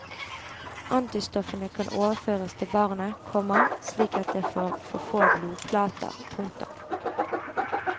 Antistoffene kan overføres til barnet, komma slik at det får for få blodplater. punktum